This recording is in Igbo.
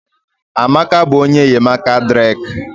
Amaka bụ onye enyemaka Drake